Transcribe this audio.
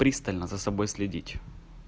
пристально за собой следить